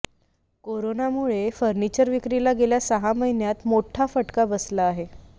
करोनामुळे फर्निचर विक्रीला गेल्या सहा महिन्यांत मोठा फटका बसला आहे